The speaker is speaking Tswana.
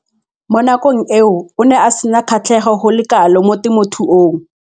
Mo nakong eo o ne a sena kgatlhego go le kalo mo temothuong.